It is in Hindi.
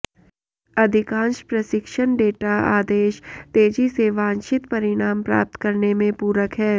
अधिकांश प्रशिक्षण डेटा आदेश तेजी से वांछित परिणाम प्राप्त करने में पूरक हैं